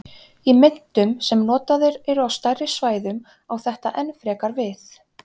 Í myntum sem notaðar eru á stærri svæðum á þetta enn frekar við.